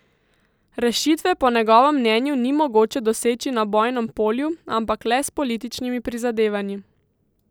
Rešitve po njegovem mnenju ni mogoče doseči na bojnem polju, ampak le s političnimi prizadevanji.